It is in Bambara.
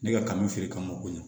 Ne ka kanu feere kama ma o ko ɲana